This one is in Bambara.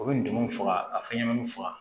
U bɛ ndomun faga a fɛnɲɛnɛmaninw faga